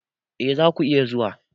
E, za ku iya zuwa.